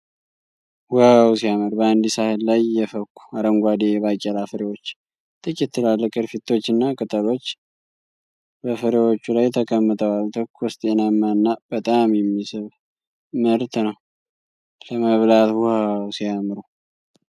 ዋው ሲያምር! በአንድ ሳህን ላይ የፈኩ፣ አረንጓዴ የባቄላ ፍሬዎች ። ጥቂት ትላልቅ ቅርፊቶችና ቅጠሎች በፍሬዎቹ ላይ ተቀምጠዋል። ትኩስ፣ ጤናማና በጣም የሚስብ ምርት ነው። ለመብላት ዋው ሲያምሩ!